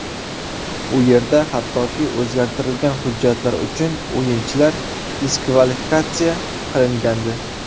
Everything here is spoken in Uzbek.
U yerda hattoki o‘zgartirilgan hujjatlar uchun o‘yinchilar diskvalifikatsiya qilingandi.